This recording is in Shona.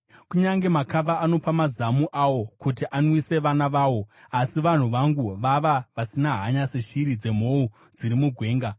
Kunyange makava anopa mazamu awo kuti anwise vana vawo, asi vanhu vangu vava vasina hanya seshiri dzemhou dziri mugwenga.